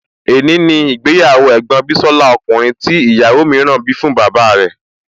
È ní ni ìgbéyàwó ẹ̀gbọ́n bísọ́lá ọkùnrin tí ìyàwó mìíràn bí fún bàbá rẹ̀